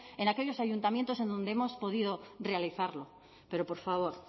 en aquellos ayuntamientos en donde hemos podido realizarlo pero por favor